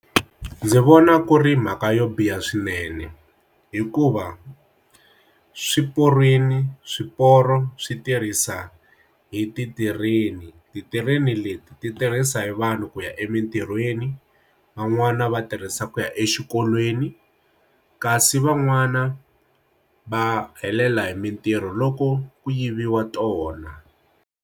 Ndzi vona ku ri mhaka yo biha swinene hikuva swiporweni swiporo swi tirhisa hi ti tirheni ti tirheni leti ti tirhisa hi vanhu ku ya emitirhweni van'wani va tirhisa ku ya exikolweni kasi van'wana va helela hi mintirho loko ku yiviwa tona.